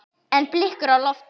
En blikur eru á lofti.